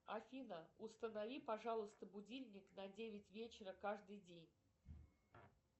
афина установи пожалуйста будильник на девять вечера каждый день